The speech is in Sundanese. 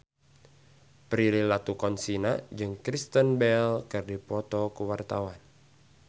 Prilly Latuconsina jeung Kristen Bell keur dipoto ku wartawan